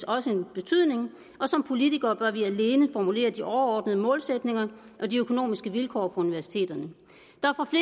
også en betydning og som politikere bør vi alene formulere de overordnede målsætninger og de økonomiske vilkår på universiteterne vil